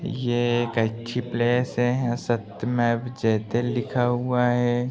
यह एक अच्छी प्लेस है सत्यमेव जयते लिखा हुआ है।